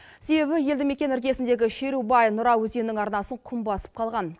себебі елді мекен іргесіндегі шерубай нұра өзенінің арнасын құм басып қалған